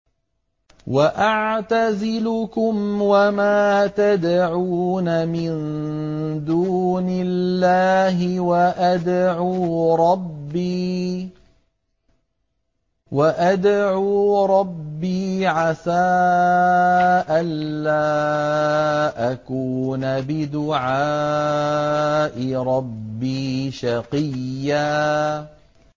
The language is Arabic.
وَأَعْتَزِلُكُمْ وَمَا تَدْعُونَ مِن دُونِ اللَّهِ وَأَدْعُو رَبِّي عَسَىٰ أَلَّا أَكُونَ بِدُعَاءِ رَبِّي شَقِيًّا